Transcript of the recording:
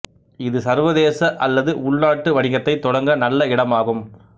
இது சர்வதேச அல்லது உள்நாட்டு வணிகத்தைத் தொடங்க நல்ல இடமாகும்